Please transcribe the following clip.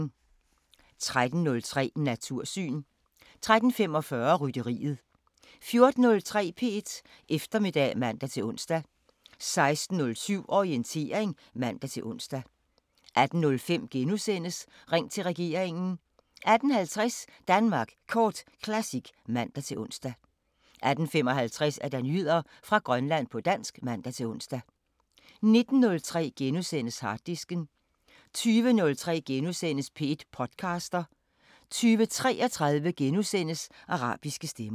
13:03: Natursyn 13:45: Rytteriet 14:03: P1 Eftermiddag (man-ons) 16:07: Orientering (man-ons) 18:05: Ring til regeringen * 18:50: Danmark Kort Classic (man-ons) 18:55: Nyheder fra Grønland på dansk (man-ons) 19:03: Harddisken * 20:03: P1 podcaster * 20:33: Arabiske Stemmer *